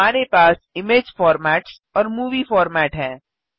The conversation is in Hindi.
हमारे पास इमेज फॉर्मेट्स और मूवी फॉर्मेट हैं